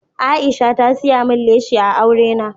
Aisha ta siya min leshi a aure na.